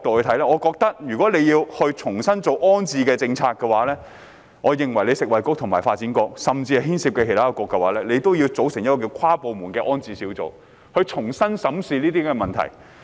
從這個角度看來，如要重新做好安置政策，食衞局、發展局及其他牽涉的部門應組成跨部門安置小組，重新審視相關問題。